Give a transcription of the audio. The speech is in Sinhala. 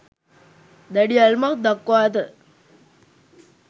දැඩි ඇල්මක් දක්වා ඇත.